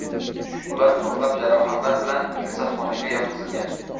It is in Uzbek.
Ular ko‘plab jarohatlar bilan kasalxonaga yotqizilgan.